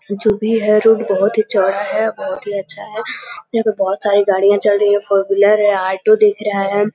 जो भी है रोड बोहोत ही चौड़ा है बोहोत ही अच्छा है। यहाँ पे बोहोत सारी गाड़ियां चल रही हैं फोर व्हीलर है ऑटो दिख रहा है।